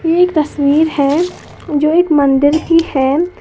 ये एक तस्वीर है जो एक मंदिर की है।